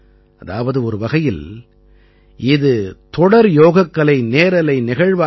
அதாவது ஒரு வகையில் இது தொடர் யோகக்கலை நேரலை நிகழ்வாக இருக்கும்